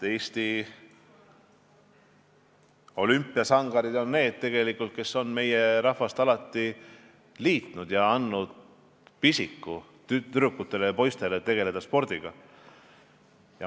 Eesti olümpiasangarid on need, kes on meie rahvast alati liitnud ja tekitanud tüdrukutes ja poistes spordipisikut.